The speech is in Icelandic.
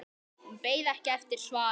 Hún beið ekki eftir svari.